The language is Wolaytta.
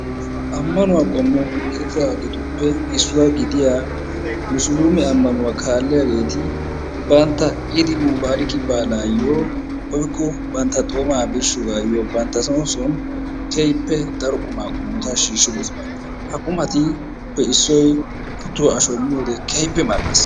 ammanuwa qommo gididaageetuppe issuwa gidiyaa Musulumee ammanuwaa kaaliyaageeti bantta Id-mubarek baalayyo woykko bantta xoomaa birshshiyoogayyo bantta soon soon keehippe daro quma qommota shiishshidoosona. ha qumatuppe issoy kuttuwaa ashshoy miyyoode keehippe mel''ees.